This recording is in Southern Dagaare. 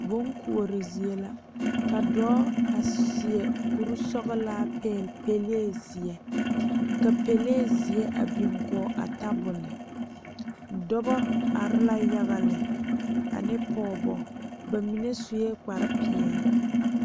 Bonkoɔre zie la a dɔɔ a seɛ kuri sɔglaa pegle pele ziɛ ka pele ziɛ a biŋ kɔŋ a tabole dɔɔba are la yaga lɛ ane pɔgebo bamine seɛ kpare peɛle.